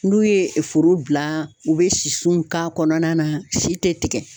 N'u ye foro bila u bɛ sisu k'a kɔnɔna na si tɛ tigɛ.